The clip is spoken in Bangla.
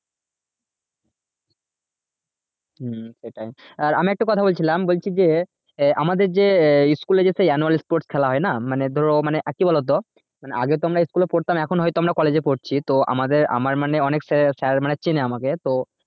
হম সেটাই আর আমি একটা কথা বলছিলাম বলছি যে আহ আমাদের যে আহ school এ যে সেই annual sport খেলা হয়না মানে ধরো মানে আরকি বলতো মানে আগেতো আমরা school পড়তাম এখন হয়তো আমরা college এ পড়ছি তো আমাদের আমার মানে অনেক sir sir মানে চেনে আমাকে তো